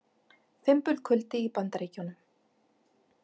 Fimbulkuldi í Bandaríkjunum